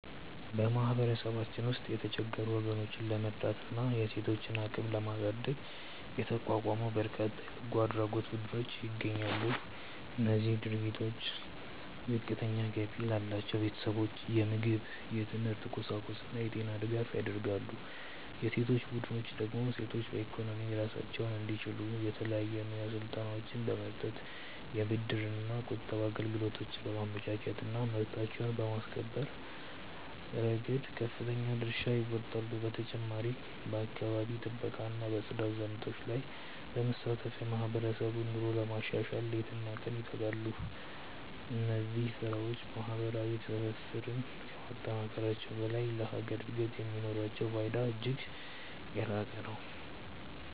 በማህበረሰባችን ውስጥ የተቸገሩ ወገኖችን ለመርዳትና የሴቶችን አቅም ለማሳደግ የተቋቋሙ በርካታ የበጎ አድራጎት ቡድኖች ይገኛሉ። እነዚህ ድርጅቶች ዝቅተኛ ገቢ ላላቸው ቤተሰቦች የምግብ፣ የትምህርት ቁሳቁስና የጤና ድጋፍ ያደርጋሉ። የሴቶች ቡድኖች ደግሞ ሴቶች በኢኮኖሚ ራሳቸውን እንዲችሉ የተለያዩ የሙያ ስልጠናዎችን በመስጠት፣ የብድርና ቁጠባ አገልግሎቶችን በማመቻቸትና መብታቸውን በማስከበር ረገድ ከፍተኛ ድርሻ ይወጣሉ። በተጨማሪም በአካባቢ ጥበቃና በጽዳት ዘመቻዎች ላይ በመሳተፍ የማህበረሰቡን ኑሮ ለማሻሻል ሌሊትና ቀን ይተጋሉ። እነዚህ ስራዎች ማህበራዊ ትስስርን ከማጠናከራቸውም በላይ ለሀገር እድገት የሚኖራቸው ፋይዳ እጅግ የላቀ ነው።